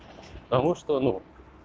потому что ну